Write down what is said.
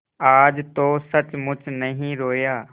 आज तो सचमुच नहीं रोया